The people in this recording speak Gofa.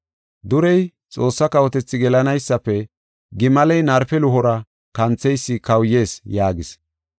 Durey Xoossa kawotethi gelanaysafe gimaley narpe luhora kantheysi kawuyees” yaagis.